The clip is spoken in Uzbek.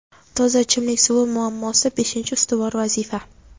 Toza ichimlik suvi muammosi – beshinchi ustuvor vazifa.